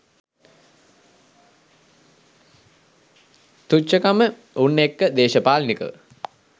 තුච්ඡකම උන් එක්ක දේශපාලනිකව